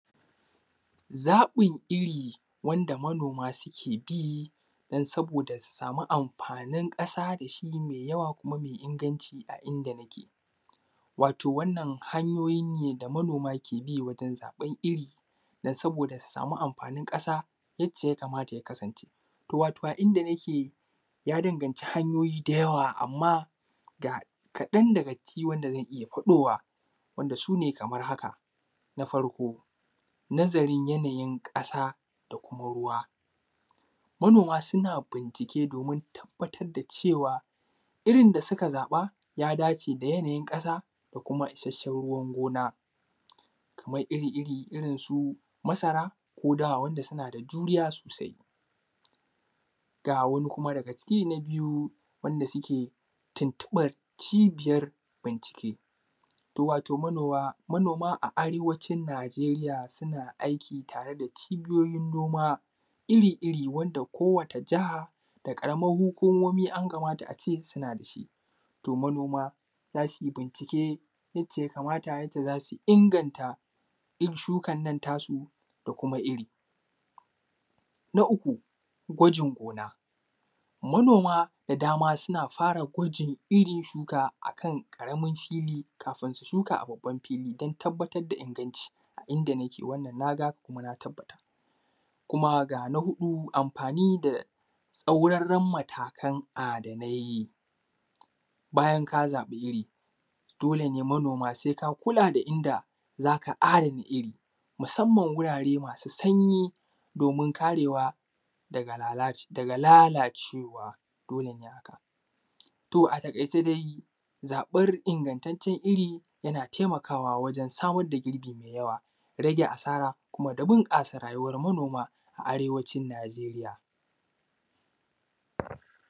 Zaɓin irin wanda manoma suke bi don saboda su samu amfanin kasa dashi mai yawa kuma mai inganci a inda nake, wato wannan hanyoyi ne da manoma suke bi wajen zaɓen iri, don saboda samu amfani kasa yace ya kamata ya kasance. To wato a inda nike ya danganci hanyoyi da yawa amma ga kaɗan daga cikin wanda zan iya faɗowa, wanda su ne kaman haka: Na farko, nazarın yanayin kasa da kuma ruwa, manoma suna bincike domin tabbatar da cewa irin da suka zaba ya dace da yanayin ƙasa da kuma isashen ruwan gona, kamar iri-iri, irin su masara ko dawa, wanda suna da juriya sosai. Ga wani kuma daga ciki na biyu wanda suke tuntubar cibiyar bincike, to wato manoma, manoma a arewacin Nijeriya suna aiki tare da cibiyoyin noma iri-iri wanda kowace jaha, da ƙaramar hukomomi ya kamata ace suna dashi, to manoma za su bincike yace ya kamata yace za su inganta shukan nan tasu da kuma iri. Na uku gwajin gona, manoma da dama suna fara gwajin irin shuka akan ƙaramin fili kafin su shuka a babban fili, don tabbatar da inganci a inda nike, wannan naga kuma na tabbata. Kuma ga na huɗu, amfani da tsauraran matakan adanai, bayan ka zabi iri, dole ne manoma sai ka kula da inda zaka adana iri, musamman wurare masu sanyi, domin ƙwarewa daga lala, lalacewa dole ne haka. To a takaice dai zabar ingantacen yana taimakawa wajen samar da girbi mai yawa, rage asara, kuma da bunƙasa rayuwar manoma a arewacin Nijeriya.